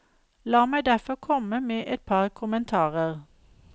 La meg derfor komme med et par kommentarer.